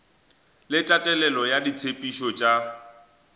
le tatelelo ya ditshepetšo tša